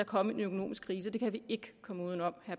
kommet en økonomisk krise det kan vi ikke komme uden om